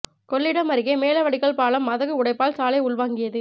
கொள்ளிடம் அருகே மேல வடிகால் பாலம் மதகு உடைப்பால் சாலை உள்வாங்கியது